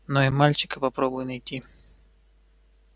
но и мальчика попробуй найти